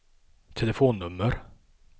telefonnummer